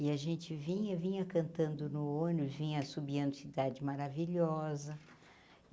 E a gente vinha vinha cantando no ônibus, vinha assobiando Cidade Maravilhosa.